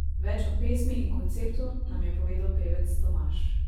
Več o pesmi in konceptu nam je povedal pevec Tomaž.